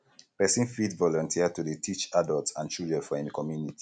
person fit volunteer to dey teach adults and children for im community